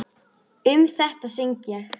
Um þetta söng ég: